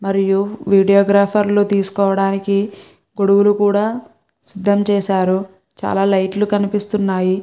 మరియు videographer లు తీసుకోవడానికి గొడుగులు కూడా సిద్ధం చేశారు. చాలా లైట్ లు కనిపిస్తున్నాయి.